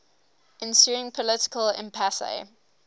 ensuing political impasse